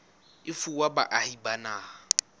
e fuwa baahi ba naha